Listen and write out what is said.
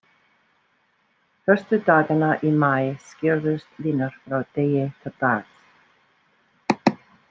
Fyrstu dagana í maí skýrðust línur frá degi til dags.